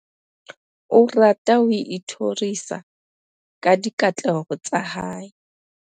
o rata ho ithorisa ka dikatleho tsa hae